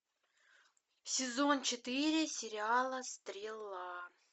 сезон четыре сериала стрела